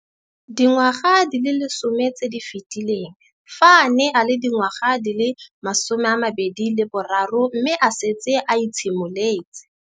Dingwaga di le 10 tse di fetileng, fa a ne a le dingwaga di le 23 mme a setse a itshimoletse.